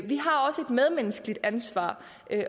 vi har også et medmenneskeligt ansvar